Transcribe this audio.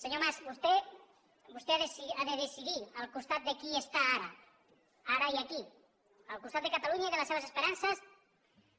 senyor mas vostè ha de decidir al costat de qui està ara ara i aquí al costat de catalunya i de les seves esperances